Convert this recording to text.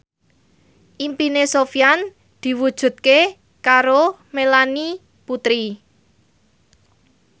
impine Sofyan diwujudke karo Melanie Putri